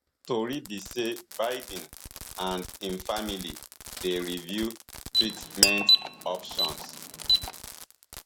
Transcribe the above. tori be say biden and im family dey review treatment options